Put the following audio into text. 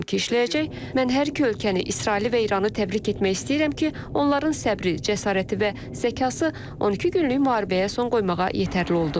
Mən hər iki ölkəni, İsraili və İranı təbrik etmək istəyirəm ki, onların səbri, cəsarəti və zəkası 12 günlük müharibəyə son qoymağa yetərli oldu.